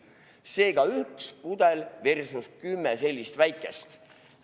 Seega üks pudel versus kümme sellist väikest.